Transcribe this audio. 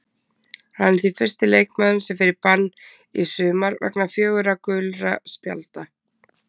Hann er því fyrsti leikmaðurinn sem fer í bann í sumar vegna fjögurra gulra spjalda.